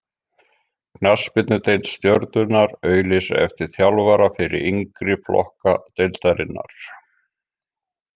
Knattspyrnudeild Stjörnunnar auglýsir eftir þjálfara fyrir yngri flokka deildarinnar.